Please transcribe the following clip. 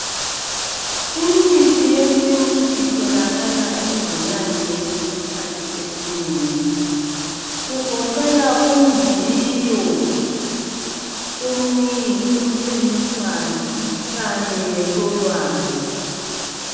Imithi yesintu itholakala ezinyangeni isikhathi esinengi kugoqela umviyo ,umnyi, umkhemeswane kanye lentolwane